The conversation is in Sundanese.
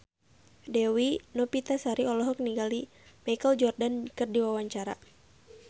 Dewi Novitasari olohok ningali Michael Jordan keur diwawancara